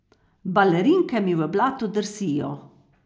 Balerinke mi v blatu drsijo.